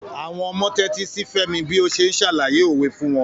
Àwọn ọmọ tẹ́tí sí Femi bí ó ṣe ń ṣàlàyé òwe fún wọn.